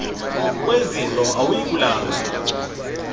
kwezidlo awuyi kulamba